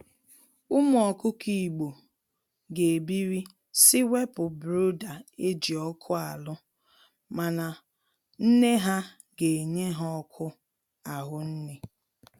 Ụmụ ọkụkọ igbo ga ebiri si wepụ brooder eji ọkụ alụ mana nne ha ga enye ha ọkụ ahụnne.